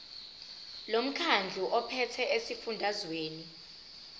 lomkhandlu ophethe esifundazweni